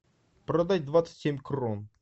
продать двадцать семь крон